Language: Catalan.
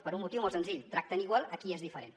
per un motiu molt senzill tracten igual a qui és diferent